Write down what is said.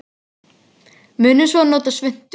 Munum svo að nota svuntu.